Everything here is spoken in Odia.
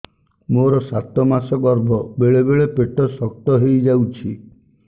ମୋର ସାତ ମାସ ଗର୍ଭ ବେଳେ ବେଳେ ପେଟ ଶକ୍ତ ହେଇଯାଉଛି